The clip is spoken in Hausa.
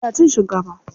Ina cin shinkafa.